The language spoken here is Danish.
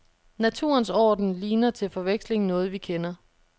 Naturens orden ligner til forveksling noget vi kender.